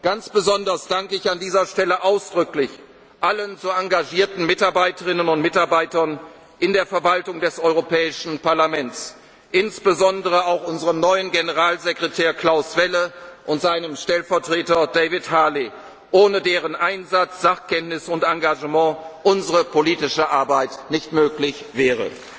Ganz besonders danke ich an dieser Stelle ausdrücklich allen so engagierten Mitarbeiterinnen und Mitarbeitern in der Verwaltung des Europäischen Parlaments, insbesondere auch unserem neuen Generalsekretär Klaus Welle und seinem Stellvertreter David Harley, ohne deren Einsatz, Sachkenntnis und Engagement unsere politische Arbeit nicht möglich